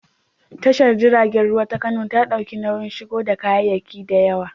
Tashar jiragen ruwa ta Kano na ɗaukar nauyin shigo da kayayyaki da yawa.